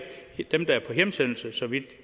dem der er på hjemsendelse så vidt